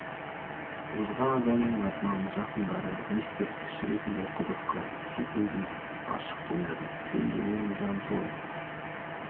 озған адамның атынан жақындары ескерткіш ретінде құдық қазып су көзін ашып қояды шөлдеген жан сол